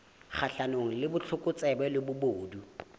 kgahlanong le botlokotsebe le bobodu